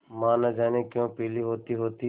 माँ न जाने क्यों पीली होतीहोती